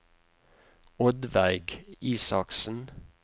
Oddveig Isaksen